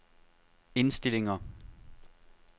indstillinger